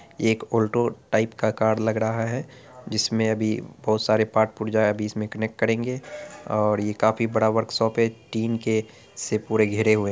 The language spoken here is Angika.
एक ऐल्टो टाइप का कार लग रहा है जिसमे अभी बहुत सारे पार्ट पुर्जे अभी इसमे कनेक्ट करेगे और यह काफी बड़ा वर्क्शाप है | टीन से पूरा घिरे हुए है।